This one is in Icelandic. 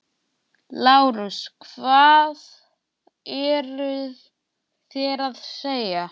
LÁRUS: Hvað eruð þér að segja?